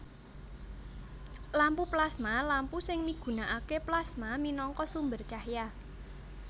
Lampu plasma Lampu sing migunakaké plasma minangka sumber cahya